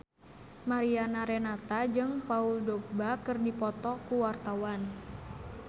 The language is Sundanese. Mariana Renata jeung Paul Dogba keur dipoto ku wartawan